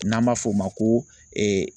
N'an b'a fɔ o ma ko